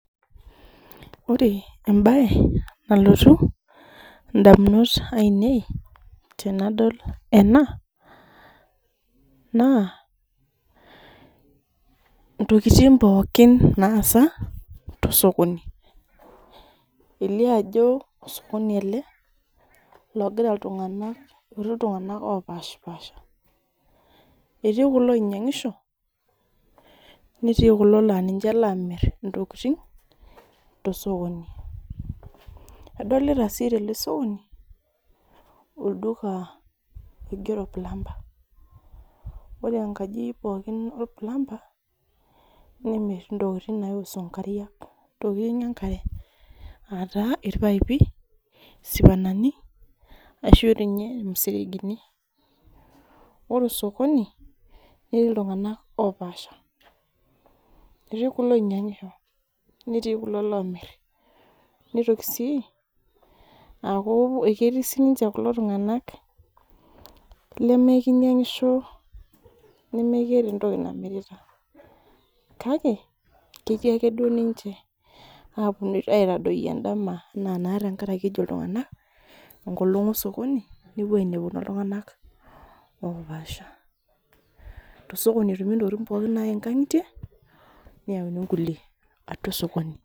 ore embae nalotu indamunot ainei tenadol ena naa intokitin pooki naasa tosokoni, elio ajo osokoni ele, longira iltungana eti iltungana opasha pasha eti kulo oinyiangisho neti kulo la ninche lamir intokitin tosokoni, adolta si tele sokoni oingero plumber ore enkaji pooki olplumber nemir intokitin naihusu inkariak intokitin enkare ata ilpaipi, isiwanani ashu doi ninye imuseregini, ore osokoni neti iltungana opasha eti kulo onyiangisho neti ilomir, neitoki si aku keti sininche kulo tunganak leme kinyiangisho neme keeta entoki namirita, kake keti ake ninche aponu aitadoyio endama, ena tenkaraki ejo iltunganak engolong osokoni nepuo ainepuno oltungana opasha, to sokoni etumi intokitin pooki nayae inkangitie, neyauni inkulie atua osokoni.